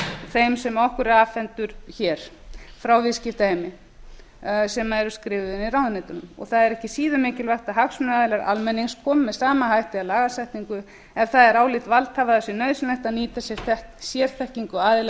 þeim sem okkur er afhentur hér frá viðskiptaheimi sem hefur verið skrifaður í ráðuneytunum og það er ekki síður mikilvægt að hagsmunaaðilar almennings komi með sama hætti að lagasetningu ef það er álit valdhafa að það sé nauðsynlegt að nýta sér sérþekkingu aðila